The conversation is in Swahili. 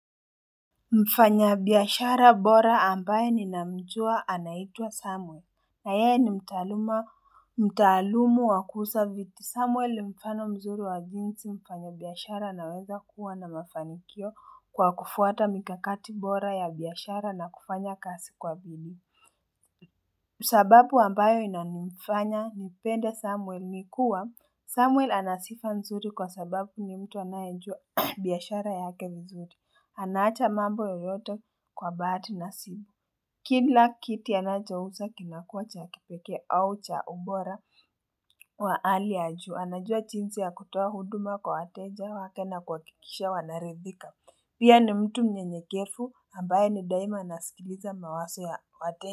Mfanyabiashara bora ambaye ninamjua anaitwa Samuel na yeye ni mtaaluma mtaalumu wa kuuza vitu Samuel ni mfano mzuri wa jinsi mfanyabiashara anaweza kuwa na mafanikio kwa kufuata mikakati bora ya biashara na kufanya kazi kwa bili, sababu ambayo inanifanya nipende Samuel ni kuwa Samuel ana sifa mzuri kwa sababu ni mtu anayejua biashara yake vizuri Anaacha mambo yoyote kwa bahati nasi Kila kiti anachouza kinakuwa cha kipekee au cha ubora wa hali ya juu anajua jinsi ya kutoa huduma kwa wateja wake na kuhakikisha wanaridhika Pia ni mtu mnyenyekevu, ambaye ni daima anasikiliza mawazo ya wateja.